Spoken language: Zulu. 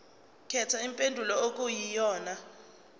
khetha impendulo okuyiyona